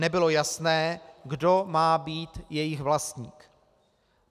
Nebylo jasné, kdo má být jejich vlastník.